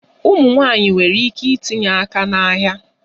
Ụmụ nwanyị nwere ike itinye aka n'ahịa